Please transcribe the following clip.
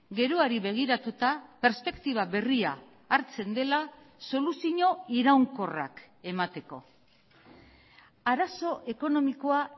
geroari begiratuta perspektiba berria hartzen dela soluzio iraunkorrak emateko arazo ekonomikoa